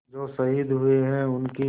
जो शहीद हुए हैं उनकी